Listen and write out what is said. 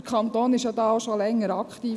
Der Kanton ist da ja auch schon länger aktiv.